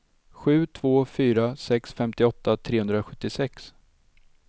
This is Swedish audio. sju två fyra sex femtioåtta trehundrasjuttiosex